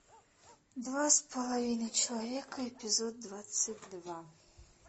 два с половиной человека эпизод двадцать два